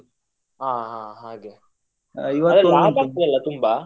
ಹ ಹಾ ಹಾಗೆ ಅದ್ರಲ್ಲಿ ಲಾಭ ಆಗ್ತದಲಾ ತುಂಬ.